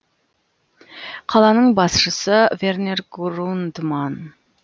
қаланың басшысы вернер грундман